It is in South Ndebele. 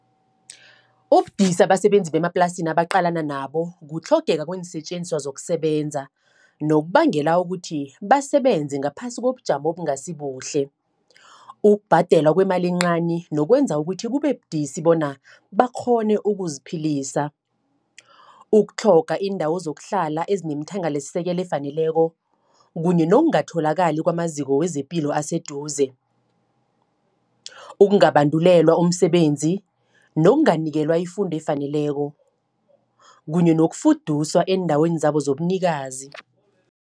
Ubudisi abasebenzi bemaplasini nabaqalana nabo, kutlhogeka kweensetjenziswa zokusebenza. Nokubangela ukuthi, basebenze ngaphasi kobujamo obungasibuhle. Ukubhadelwa kwemali encani, nokwenza ukuthi kube budisi bona, bakghone ukuziphilisa. Ukutlhoga iindawo zokuhlala ezinemthangalasisekelo efaneleko, kunye nokungatholakali kwamaziko wezepilo aseduze. Ukungabandulelwa umsebenzi, nokunganikelwa ifundo efaneleko, kunye nokufuduswa eendaweni zabo zobunikazi.